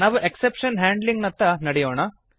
ನಾವು exception handling ನತ್ತ ನಡೆಯೋಣ